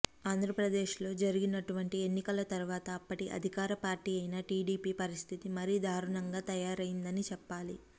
ఆంధ్రప్రదేశ్లో జరిగినటువంటి ఎన్నికల తరువాత అప్పటి అధికార పార్టీ అయిన టీడీపీ పరిస్థితి మరీ దారుణంగా తయారయిందని చెప్పాలి